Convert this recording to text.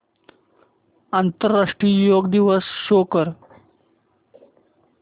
आंतरराष्ट्रीय योग दिवस शो कर